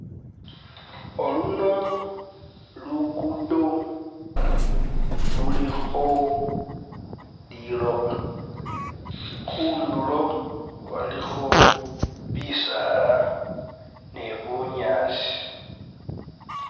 Oluno lugudo lulikho liloba khundulo walikho bisaala ni bunyaasi.